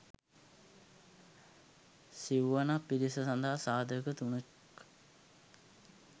සිව්වනක් පිරිස සඳහා සාධක තුනක්